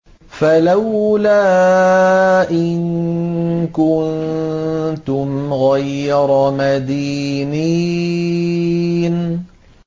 فَلَوْلَا إِن كُنتُمْ غَيْرَ مَدِينِينَ